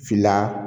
Fila